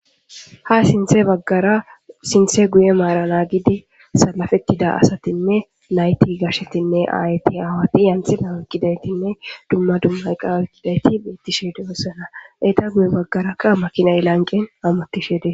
ha sinthe baggara sinthe guye maara naagidi salafettida asatinne nayti gashetinne ayeti aawati yanthinawekkidaytinne dumma dumma iqa oykkidayti beettishe doosona. Eta guye baggarakka makinay lanqen hamuttishe dee